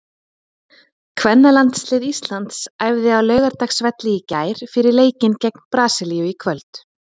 Kvennalandslið Íslands æfði á Laugardalsvelli í gær fyrir leikinn gegn Brasilíu í kvöld.